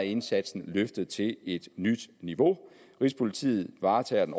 indsatsen løftet til et nyt niveau rigspolitiet varetager den